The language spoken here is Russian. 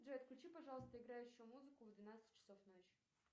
джой отключи пожалуйста играющую музыку в двенадцать часов ночи